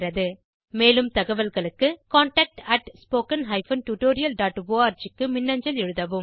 மேலும் தகவல்களுக்கு contactspoken tutorialorg க்கு மின்னஞ்சல் எழுதவும்